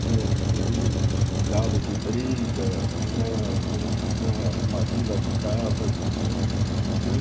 Tinha, inclusive, galo de briga, Sei tinha tinha uma uma vila de casas que tinha.